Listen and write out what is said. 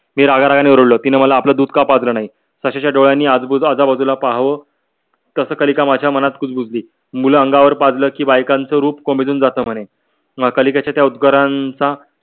मी रागारागाने रडलो तिने मला आपल दूध का पाजल नाही तसयाच्या डोलयाणी अजबुज आजाबजाला पहाव तस कालिका माझ्या मनात कुजबुजली मूल अंगावर पाजली की बेकानच रूप कोमेजून जात म्हणे अं कालिकाच्या त्या उद्गारन्चा